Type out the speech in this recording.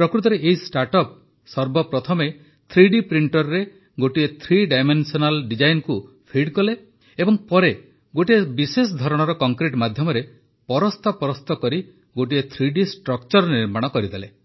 ପ୍ରକୃତରେ ଏହି startup ସର୍ବପ୍ରଥମେ ଥ୍ରୀଡି ପ୍ରିଣ୍ଟରରେ ଗୋଟିଏ ଥ୍ରୀ ଡାଇମେନ୍ସନାଲ୍ ଡିଜାଇନକୁ ଫିଡ୍ କଲେ ଏବଂ ପରେ ଗୋଟିଏ ବିଶେଷ ଧରଣର କଂକ୍ରିଟ ମାଧ୍ୟମରେ ପରସ୍ତ ପରସ୍ତ କରି ଗୋଟିଏ ଥ୍ରୀଡି ଷ୍ଟ୍ରକ୍ଚର ନିର୍ମାଣ କରିଦେଲେ